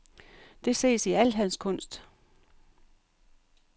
Det ses i al hans kunst.